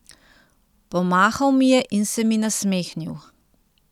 Pomahal mi je in se mi nasmehnil.